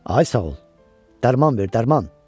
Ay sağ ol, dərman ver, dərman.